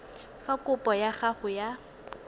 fa kopo ya gago ya